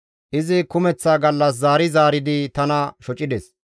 Izi kumeththa gallas zaari zaaridi tana shocides.